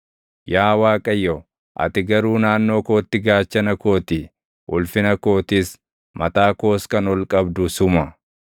Yaa Waaqayyo, ati garuu naannoo kootti gaachana koo ti; ulfina kootis; mataa koos kan ol qabdu suma.